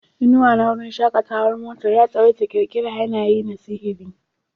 Inuwa na wurin shakatawar motar ya tsawaita ƙirƙirar yanayi na sihiri.